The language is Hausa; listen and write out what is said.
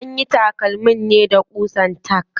Anyi takalmin ne da ƙusa tack.